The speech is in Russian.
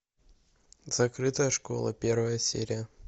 закрытая школа первая серия